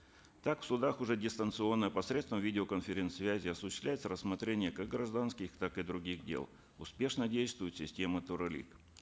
так в судах уже дистанционно посредством видеоконференцсвязи осуществляется рассмотрение как гражданских так и других дел успешно действует система